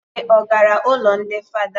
Ude ọ gara ụlọ ndị fada?